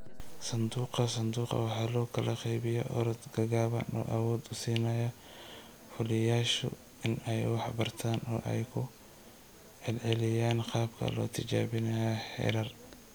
Sanduuqa-sanduuqa waxa loo kala qaybiyaa orod gaagaaban oo awood u siinaya fuliyayaashu in ay wax bartaan oo ay ku celceliyaan qaabka loo tijaabinayo heerar.